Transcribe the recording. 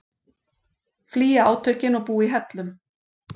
Flýja átökin og búa í hellum